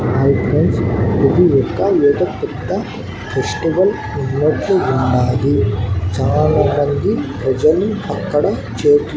white rice లేదా vegetable ఉన్నట్టు వున్నాది చాలా మంది లెజెండ్ అక్కడ చేత్లో--